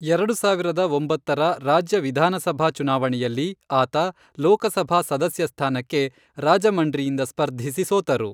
ಎರಡು ಸಾವಿರದ ಒಂಬತ್ತರ ರಾಜ್ಯ ವಿಧಾನಸಭಾ ಚುನಾವಣೆಯಲ್ಲಿ, ಆತ ಲೋಕಸಭಾ ಸದಸ್ಯ ಸ್ಥಾನಕ್ಕೆ ರಾಜಮಂಡ್ರಿಯಿಂದ ಸ್ಪರ್ಧಿಸಿ ಸೋತರು.